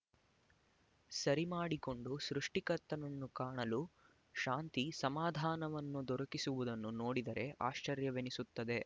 ಸರಿ ಮಾಡಿಕೊಂಡು ಸೃಷ್ಟಿಕರ್ತನನ್ನು ಕಾಣಲು ಶಾಂತಿ ಸಮಾಧಾನವನ್ನು ದೊರಕಿಸುವುದನ್ನು ನೋಡಿದರೆ ಆಶ್ಚರ್ಯವೆನಿಸುತ್ತದೆ